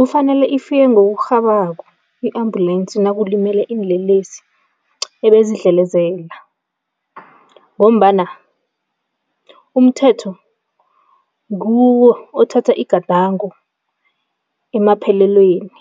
Kufanele ifike ngokurhabako i-ambulensi nakulimele iinlelesi ebezidlelezela ngombana umthetho nguwo othatha igadango emaphelelweni